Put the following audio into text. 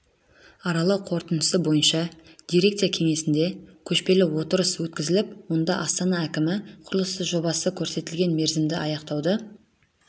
аралау қорытындысы бойынша дирекция кеңсесінде көшпелі отырыс өткізіліп онда астана әкімі құрылысы жобасын көрсетілген мерзімде аяқтауды